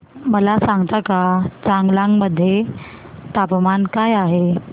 मला सांगता का चांगलांग मध्ये तापमान काय आहे